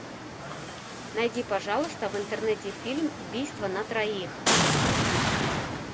найди пожалуйста в интернете фильм убийство на троих